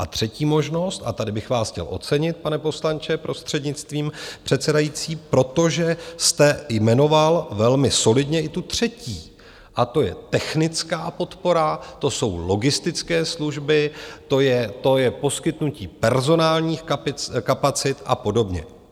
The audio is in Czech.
A třetí možnost, a tady bych vás chtěl ocenit, pane poslanče, prostřednictvím předsedající, protože jste jmenoval velmi solidně i tu třetí, a to je technická podpora, to jsou logistické služby, to je poskytnutí personálních kapacit a podobně.